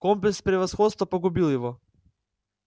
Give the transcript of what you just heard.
комплекс превосходства погубил его